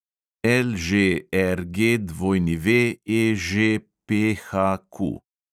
LŽRGWEŽPHQ